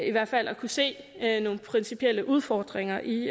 i hvert fald at kunne se nogle principielle udfordringer i